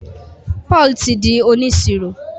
Paul tí dì oniṣiro